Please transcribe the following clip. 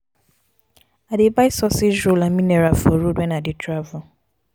i dey buy sausage roll and mineral for road wen i dey travel.